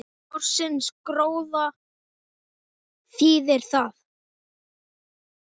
Ársins gróða þýðir það